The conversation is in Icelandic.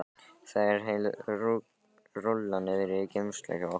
Það er heil rúlla niðri í geymslu hjá okkur, já.